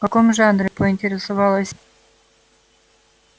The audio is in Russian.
в каком жанре поинтересовалась